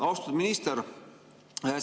Austatud minister!